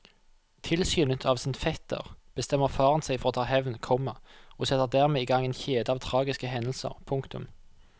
Tilskyndet av sin fetter bestemmer faren seg for å ta hevn, komma og setter dermed i gang en kjede av tragiske hendelser. punktum